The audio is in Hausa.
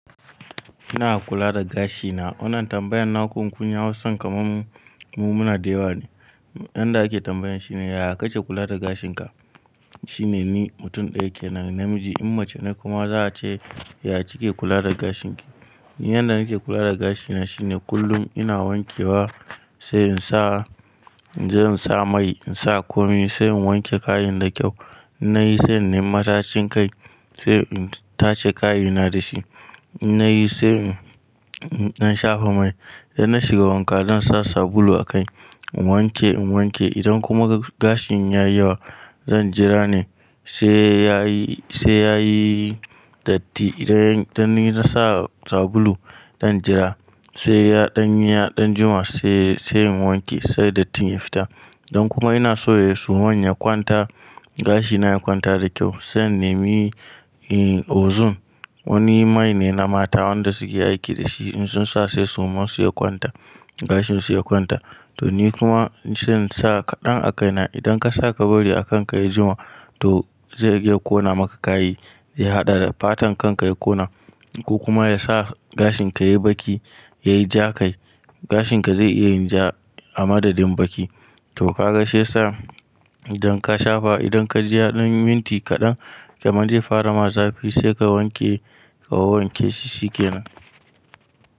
Ina kula da gashina. Wannan tambayan nakun kun yi Hausan kamar mu, mu muna da yawa ne. Yanda ake tambayan shi ne, ya ka ke kula da gashin ka? Shi ne ni mutum ɗaya ke nan namiji. In mace ne kuma za a ce, ya kike kula da gashin ki. Yanda nake kula da gashina shine kullum ina wanke wa, sai in sa, sai in sa mai in sa komai sai in wanke kayin da kyau. Na yi sai in nemi matacin kai sai in tace kayina da shi. Na yi sai in, in ɗan shafa mai. Idan na shiga wanka zan sa sabulu a kai. In wanke, in wanke idan kuma gashin ya yi yawa zan jira ne sai yayi, sai yayi datti. Idan, idan na sa sabulu zan jira sai ya ɗan yi, ɗan jima sai, sai in wanke sai dattin ya fita. Idan kuma ina so yayi suman ya kwanta, gashina ya kwanta da kyau sai in nemi, eh, ozone wani mai ne na mata wanda suke aiki da shi in sun sa sai suman su ya kwanta, gashin su ya kwanta. To ni kuma ni sai in sa kaɗan a kaina. Idan ka sa kabari a kanka ya jima to zai iya ƙona maka kai, ya haɗa da fatan kanka ya ƙona ko kuma ya sa gashin ka yayi baki, yayi ja kai. Gashin ka zai iya yin ja a madadin baki. To ka ga shi ya sa idan ka shafa idan ka ji ya ɗan minti kaɗan kamar zai fara ma zafi sai ka wanke, ka wawwanke shi shi kenan.